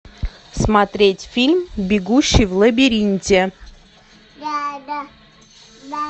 смотреть фильм бегущий в лабиринте